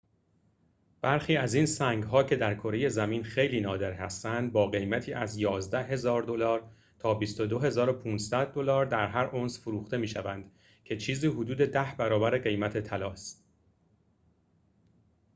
برخی از این سنگ‌ها که در کره زمین خیلی نادر هستند با قیمت از ۱۱,۰۰۰ تا ۲۲,۵۰۰ دلار در هر اونس فروخته می‌شوند که چیزی حدود ده برابر قیمت طلا است